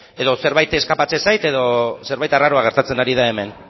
edo zerbait eskapatzen zait edo zerbait arraroa gertatzen ari da hemen